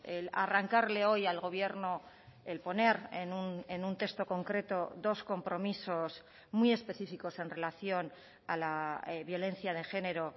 el arrancarle hoy al gobierno el poner en un texto concreto dos compromisos muy específicos en relación a la violencia de género